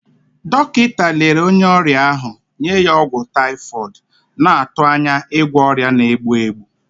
Dọkịta lere onye ọrịa ahụ, nye ya ọgwụ typhoid, na-atụ anya ịgwọ ọrịa na-egbu egbu.